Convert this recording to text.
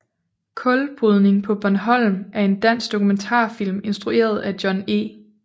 Kulbrydning paa Bornholm er en dansk dokumentarfilm instrueret af John E